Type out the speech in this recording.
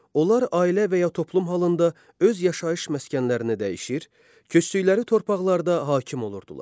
Onlar ailə və ya toplum halında öz yaşayış məskənlərini dəyişir, köçdükləri torpaqlarda hakim olurdular.